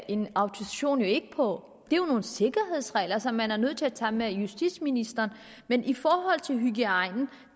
en autorisation jo ikke på det er jo nogle sikkerhedsregler som man er nødt til at tage med justitsministeren men i forhold til hygiejne